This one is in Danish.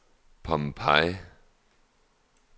Pompeii